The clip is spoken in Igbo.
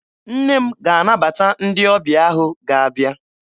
Nne m ga-anabata ndị ọbịa ahụ ga-abịa.